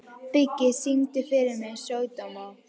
Biggi, syngdu fyrir mig „Sódóma“.